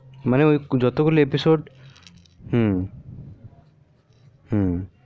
মানে যতগুলি episode হু হু